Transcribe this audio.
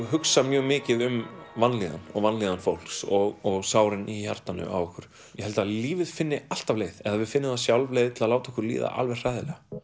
hugsa mjög mikið um vanlíðan og vanlíðan fólks og sárin í hjartanu á okkur ég held að lífið finni alltaf leið eða við finnum það sjálf leið til að láta okkur líða alveg hræðilega